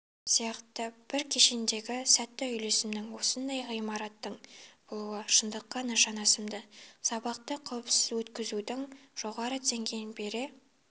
сияқты бір кешендегі сәтті үйлесімнің осындай ғимараттардың болуы шындыққа жанасымды сабақты қауіпсізөткізудің жоғары деңгейін бере